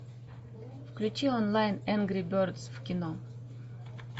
включи онлайн энгри бердс в кино